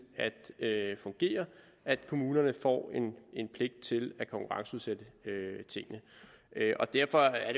at fungere at kommunerne får en pligt til at konkurrenceudsætte tingene derfor er